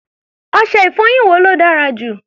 Ọṣẹ-ìfọyín wo ló dára jù?